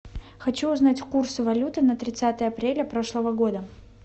хочу узнать курсы валюты на тридцатое апреля прошлого года